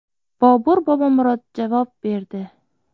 Bobur Bobomurod javob berdi .